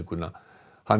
hann